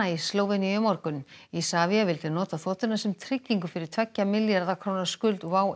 í Slóveníu í morgun Isavia vildi nota þotuna sem tryggingu fyrir tveggja milljarða króna skuld WOW